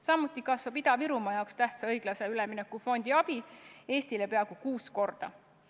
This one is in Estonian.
Samuti kasvab Ida-Virumaa jaoks tähtsa õiglase ülemineku fondi abi Eestile peaaegu kuus korda.